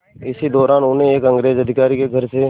इसी दौरान उन्हें एक अंग्रेज़ अधिकारी के घर से